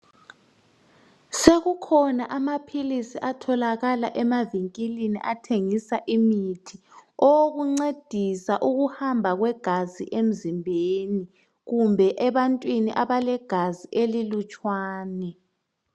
sekukhona amaphilisi atholakala emavinkilini athengisa imithi owokuncedisa ukuhamba kwegazi emzimbeni kumbe ebantwini abalegazi elilutshwana